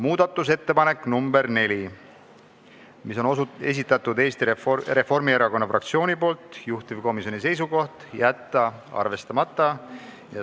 Muudatusettepanek nr 4 on Eesti Reformierakonna fraktsiooni esitatud, juhtivkomisjoni seisukoht: jätta arvestamata.